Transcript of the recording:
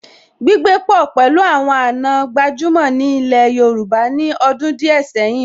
Gbígbé pọ̀ pẹ̀lú àwọn àna gbajúmọ̀ ní ilẹ̀ Yorùbá ní ọdún díẹ̀ sẹ́yìn